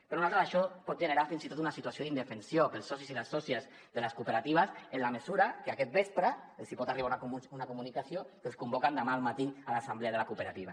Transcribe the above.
per nosaltres això pot generar fins i tot una situació d’indefensió per als socis i les sòcies de les cooperatives en la mesura que aquest vespre els pot arribar una comunicació que els convoquen demà al matí a l’assemblea de la cooperativa